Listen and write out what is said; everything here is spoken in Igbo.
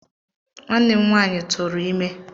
Nwanne nwanyị m tụrụ ime